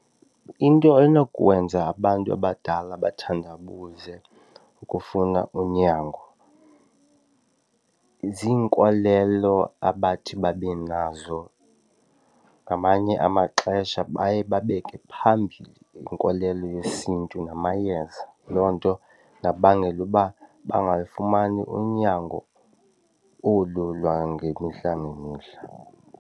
Into enokwenza abantu abadala bathandabuze ukufuna unyango ziinkolelo abathi babe nazo. Ngamanye amaxesha baye babeke phambili inkolelo yesiNtu namayeza, loo nto ingabangela ukuba bangalufumani unyango olu lwangemihla ngemihla.